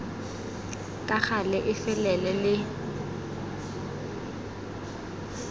ka gale e felele le